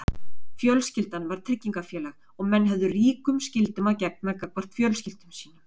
fjölskyldan var tryggingafélag og menn höfðu ríkum skyldum að gegna gagnvart fjölskyldum sínum